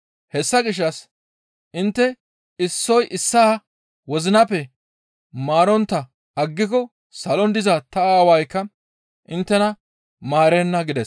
Hessa gishshas intte issoy issaa wozinappe maarontta aggiko salon diza ta Aawaykka inttena maarenna» gides.